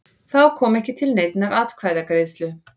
Þá kom ekki til neinnar atkvæðagreiðslu